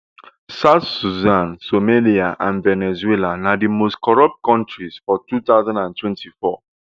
south sudan somalia and venezuela na di most corrupt kontris for two thousand and twenty-four